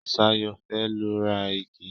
Ṣayọ̀ fẹ́ lọ ra igi.